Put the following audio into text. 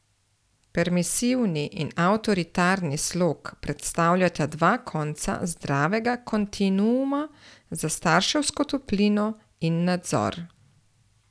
Permisivni in avtoritarni slog predstavljata dva konca zdravega kontinuuma za starševsko toplino in nadzor.